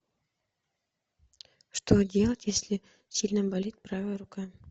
что делать если сильно болит правая рука